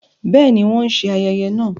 Bẹẹni, wọn n ṣe ayẹyẹ náà